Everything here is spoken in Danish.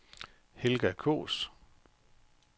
Helga Kaas